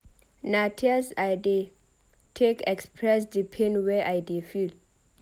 Na tears I dey take express di pain wey I dey feel.